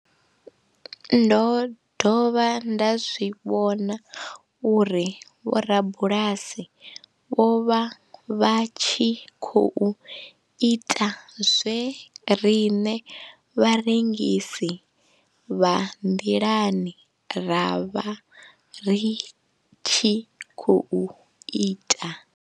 Ndo dovha nda zwi vhona uri vhorabulasi vho vha vha tshi khou ita zwe riṋe vharengisi vha nḓilani ra vha ri tshi khou ita.